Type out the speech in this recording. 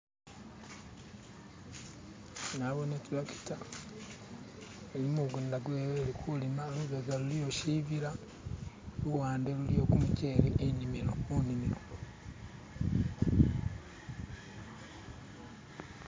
Nabone itracta, ili mumugunda ilikulima, lubega luliyo shibila luwande luliyo gumushele mugunda.